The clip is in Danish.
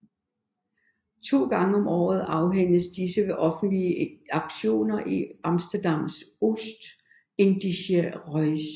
To gange om året afhændes disse ved offentlige auktioner i Amsterdams Oost Indische Huys